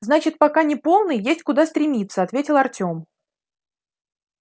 значит пока не полный есть куда стремиться ответил артём